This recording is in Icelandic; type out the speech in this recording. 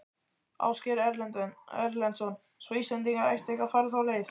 Ásgeir Erlendsson: Svo Íslendingar ættu ekki að fara þá leið?